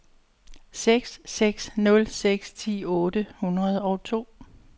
seks seks nul seks ti otte hundrede og to